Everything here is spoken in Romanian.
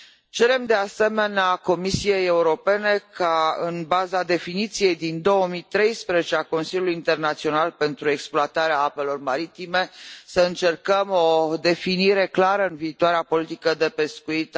Cerem, de asemenea, Comisiei Europene ca, în baza definiției din 2013 a Consiliului Internațional pentru Exploatarea Apelor Maritime, să încercăm o definire clară a acestei activități în viitoarea politică de pescuit